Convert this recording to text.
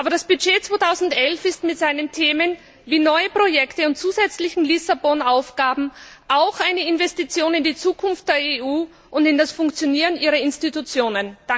Aber der Haushaltsplan 2011 ist mit seinen Themen wie neue Projekte und zusätzliche Lissabon Aufgaben auch eine Investition in die Zukunft der EU und in das Funktionieren ihrer Institutionen.